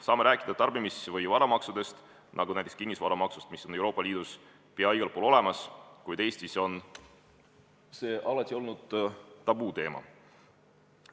Me võime rääkida ka tarbimis- või varamaksudest, näiteks kinnisvaramaksust, mis on Euroopa Liidus peaaegu igal pool olemas, kuid Eestis on see alati olnud tabuteema.